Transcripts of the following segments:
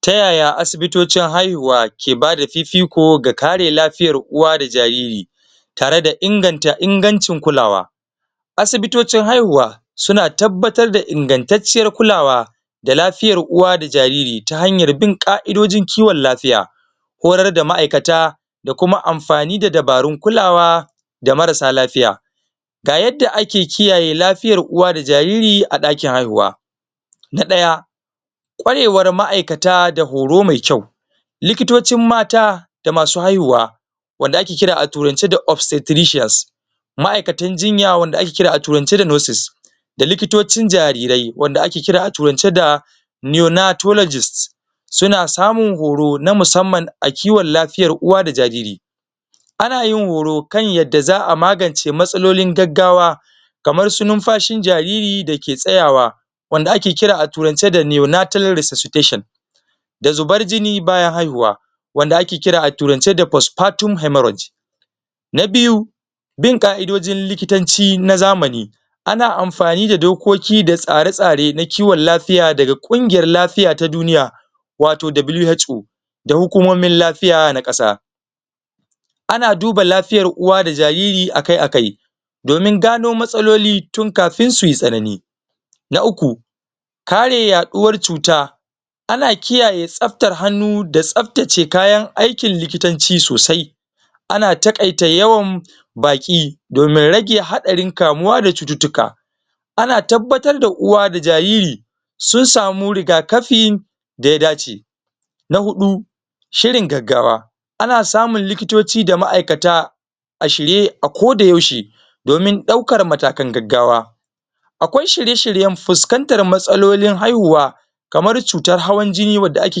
tayaya asibitocin haihuwa ke bada fifiko ga kare lafiyar uwa da jariri tare da inganta ingancin kulawa asibitocin haihuwa suna tabbatar da ingantatciyar kulawa da lafiyar uwa da jariri ta hanyar bin ƙa'idojin kiwan lafiya horar da ma'aikata da kuma amfani da dabarun kulawa da marasa lafiya ga yanda ake kiyaye lafiyar uwa da jariri a ɗakin haihuwa na ɗaya ƙwarewar ma'aikata da horo me kyau likitocin mata da masu haihuwa wanda ake kira a turance da optiontricient ma'aikatan jinya wanda ake kira a turance da nurses da likitocin jarirai wanda ake kiraa turance da neonatonagist suna samun horo na musamman a kiwan lafiyar uwa da jariri anayin horo kan yanda za a magance matsalolin gaggawa kamar su nunfashin jariri dake tsayawa wanda ake kira a turance da neonatral resossition da zubar jini bayan hauhuwa wanda ake kira a turance da prospaten hemorus na biyu bin ƙa'idojin likitoci na zamani ana amfani da dokoki da tsare tsare na kiwan lafiya daga kungiyar lafiya ta duniya wato WHO da hukomomin lafiya na ƙasa ana duba lafiyar uwa da jariri akai akai domin gano matsaloli tun kafin suyi tsanani na uku kare ya ɗuwar cuta ana kiyaye tsaftar hannu da tsaftace kayan aikin likitanci sosai ana taƙaita yawan baki domin rage haɗarin kamuwa da cututtuka ana tabbatar da uwa da jariri sunsamu riga kafin da ya dace na huɗu shirin gaggawa ana samun likitoci da ma'aikata a shirye a ko da yaushe domin ɗaukan matakan gaggawa akwai shirye shiryan fuskantar matsalolin haihuwa kamar cutar hawan jini wadda ake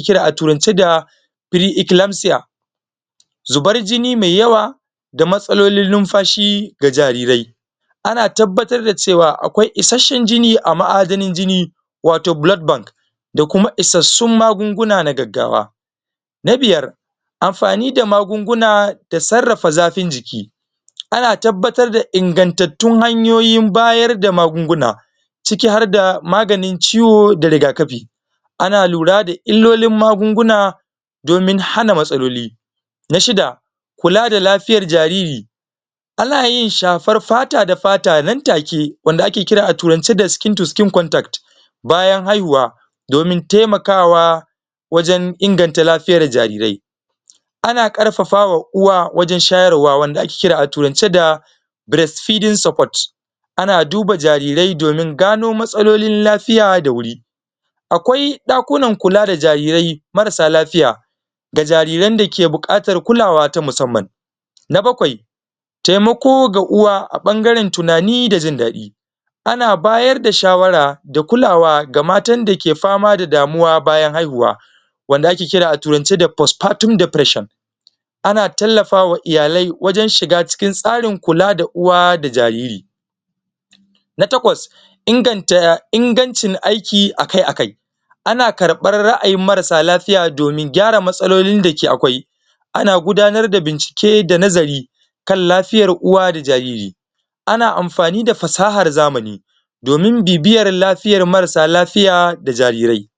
kira a turance da pre eclamcia zubar jini me yawa da matsalolin lunfashi ga jarirai ana tabbatar da cewa akwai ishasshan jini a ma'adanar jini wato blood bank da kuma isassun maguna na gaggawa na biyar amfani da magunguna da sarrafa zafin jiki ana tabbatar da ingantattun hanyoyin bayar da magunguna ciki har da maganin ciwo da riga kafi ana lura da illolin magunguna domin hana matsaloli na shida kula da lafiyar jariri anayin shafar tata da fata nan take wanda ake kira a turance skin to skin contact bayan haihuwa domin taimakawa wajan inganta lafiyar jarirai ana karfafawa uwa wajan shayarwa wanda ake kira a turance da breast feeding secord ana duba jarirai domin gano matsalolin lafiya da wuri akwai dakunan kula d Jarirai marasa lafiya da jariran da ke buƙatar kulawa ta musamman na baƙwai taimako ga uwa a bangaran tunani da jindaɗi ana bayar da shawara da kulawa ga matan dake fama da damuwa wajan haihuwa wanda ake kira a turance da pospartient deprision ana tallafawa iyalai wajan shiga tsarin kula da uwa da jariri na taƙwas ingancin yin aiki akai akai ana karɓar ra'ayin marasa lafiya domin gyara matsalolin dake akwai ana gudanar da bincike da nazari kan lafiyar uwa da jariri ana amfani da fasahar zamani domin bibiyar lafiyar marasa lafiya da jarirai